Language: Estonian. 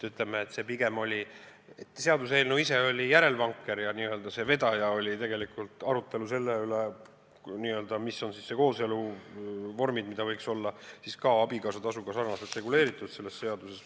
See seaduseelnõu ise oli pigem järelvanker ja n-ö vedaja oli tegelikult arutelu selle üle, mis on need kooseluvormid, mille puhul võiks selles seaduses olla abikaasatasuga sarnane regulatsioon.